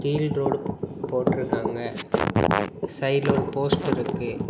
கீழ் ரோடு போட்டிருக்காங்க சைடுல ஒரு போஸ்டர் இருக்கு.